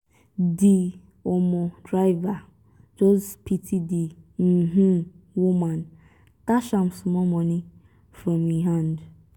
di um driver just pity di um woman dash am small moni from im hand.